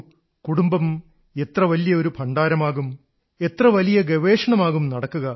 കുടുംബം എത്ര വലിയ ഒരു ഭണ്ഡാരമാകും എത്ര വലിയ ഗവേഷണമാകും നടക്കുക